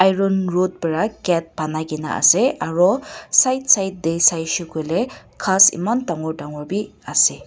iron rod para gate banaikaena ase aro side side tae saishey koilae ghas eman dangor dangor bi ase.